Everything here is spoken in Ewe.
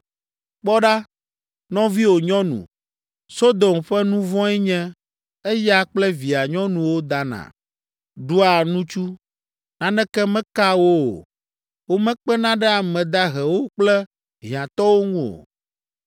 “Kpɔ ɖa, nɔviwò nyɔnu, Sodom ƒe nu vɔ̃e nye, eya kple via nyɔnuwo dana, ɖua nutsu, naneke mekaa wo o. Womekpena ɖe ame dahewo kple hiãtɔwo ŋu o.